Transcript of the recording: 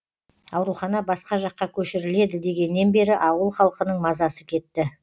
аурухана басқа жаққа көшіріледі дегеннен бері ауыл халқының мазасы кетті